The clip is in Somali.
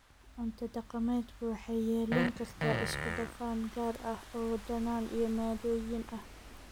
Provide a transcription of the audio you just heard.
Cunto dhaqameedku waxay yeelan kartaa isku-dhafan gaar ah oo dhadhan iyo maaddooyin ah.